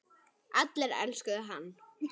Allir elskuðu hann.